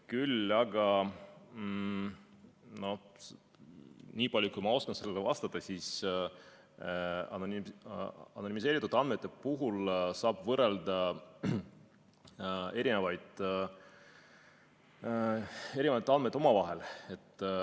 Küll aga nii palju, kui ma oskan sellele vastata, saab anonümiseeritud andmete puhul võrrelda omavahel erinevaid andmeid.